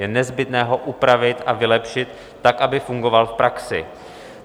Je nezbytné ho upravit a vylepšit tak, aby fungoval v praxi.